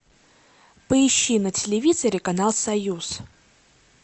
поищи на телевизоре канал союз